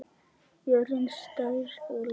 Jörðin, stærð og lögun